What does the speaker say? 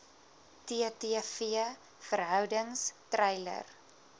ttv verhoudings treiler